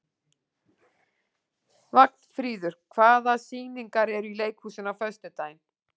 Vagnfríður, hvaða sýningar eru í leikhúsinu á föstudaginn?